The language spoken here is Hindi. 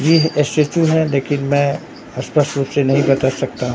येह स्टेचू है लेकिन मैं स्पष्ट रूप से नहीं बता सकता--